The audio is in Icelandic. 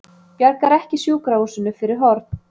Bjargar ekki sjúkrahúsinu fyrir horn